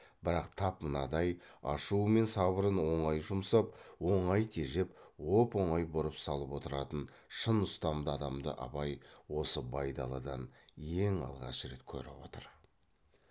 бірақ тап мынадай ашуы мен сабырын оңай жұмсап оңай тежеп оп оңай бұрып салып отыратын шын ұстамды адамды абай осы байдалыдан ең алғаш рет көріп отыр